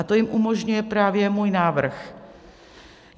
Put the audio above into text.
A to jim umožňuje právě můj návrh.